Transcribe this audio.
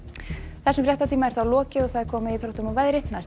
þessum fréttatíma er lokið og komið að íþróttum og veðri næstu